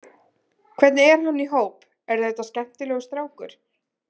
Hvernig er hann í hóp, er þetta skemmtilegur strákur?